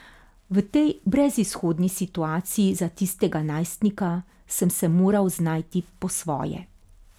V tej brezizhodni situaciji za tistega najstnika sem se moral znajti po svoje.